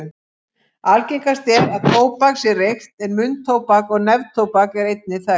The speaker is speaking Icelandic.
Algengast er að tóbak sé reykt en munntóbak og neftóbak eru einnig þekkt.